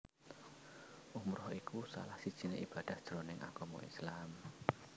Umrah iku salah sijiné ibadah jroning agama Islam